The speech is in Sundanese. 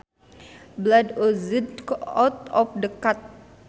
Blood oozed out of the cut